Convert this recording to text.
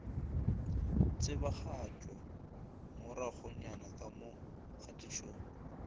tsebagatšwa moragonyana ka mo kgatišong